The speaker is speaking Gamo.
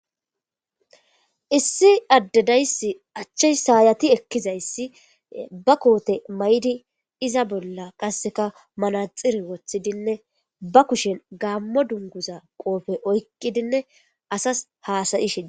issi addedayssi achche saayati ekkizayssi ba koote maydi iza bolla qasseka malaxiri woththidinne ba kushen gaammo dunguza qoofe oykkidinne asas haasayi shini